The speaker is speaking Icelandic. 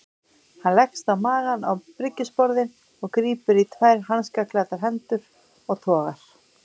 Hann leggst á magann á bryggjusporðinn og grípur í tvær hanskaklæddar hendur og togar.